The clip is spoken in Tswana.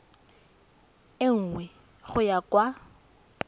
e nngwe go ya kwa